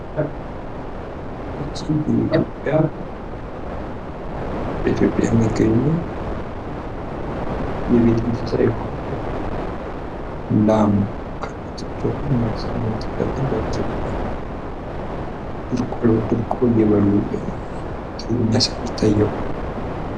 በኢትዮጵያ የሚገኙ የቤት እንስሳት የሆኑ፤ ላም ከነጥጃዋ መኖ እየበሉ ይታያሉ።